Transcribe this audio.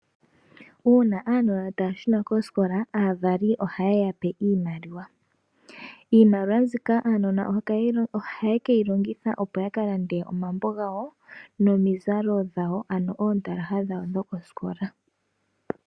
Uuna aanona taya shuna koosikola aavali oha yeyape iimaliwa. Iimaliwa mbika aanona ohaye keyilongitha opo yakalande omambo gawo nomizalo dhawo, ano iikutu yawo yo kosikola.